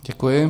Děkuji.